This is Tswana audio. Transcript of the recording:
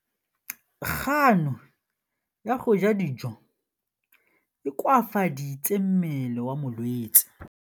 Kganô ya go ja dijo e koafaditse mmele wa molwetse.